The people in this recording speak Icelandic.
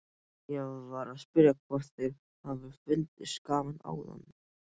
Ég var að spyrja hvort þér hafi fundist gaman áðan.